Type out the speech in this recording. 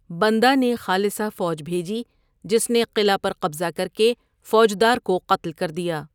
بندہ نے خالصہ فوج بھیجی جس نے قلعہ پر قبضہ کرکے فوجدار کو قتل کر دیا۔